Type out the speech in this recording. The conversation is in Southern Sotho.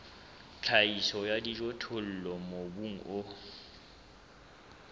tlhahiso ya dijothollo mobung o